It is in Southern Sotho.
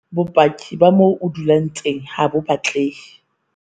Bopaki ba moo o dulang teng HA BO batlehe.